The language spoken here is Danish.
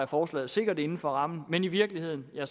forslaget sikkert inden for rammen men i virkeligheden er